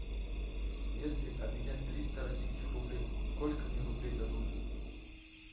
если обменять триста российских рублей сколько мне рублей дадут